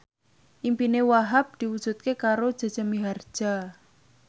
impine Wahhab diwujudke karo Jaja Mihardja